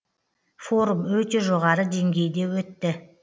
форум өте жоғары деңгейде өтті